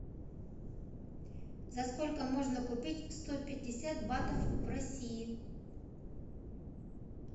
за сколько можно купить сто пятьдесят батов в россии